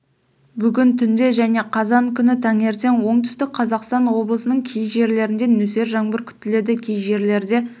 бүгін түнде және қазан күні таңертең оңтүстік қазақстан облысының кей жерлерінде нөсер жаңбыр күтіледі кей жерлерде